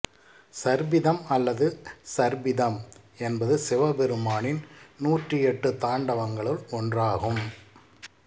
சர்பிதம் அல்லது ஸர்பிதம் என்பது சிவபெருமானின் நூற்றியெட்டுத் தாண்டவங்களுள் ஒன்றாகும்